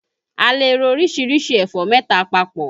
A lè ro orísìírísìí ẹ̀fọ́ mẹ́ta papọ̀